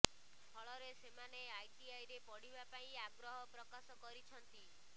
ଫଳରେ ସେମାନେ ଆଇଟିଆଇରେ ପଢ଼ିବା ପାଇଁ ଆଗ୍ରହ ପ୍ରକାଶ କରିଛନ୍ତି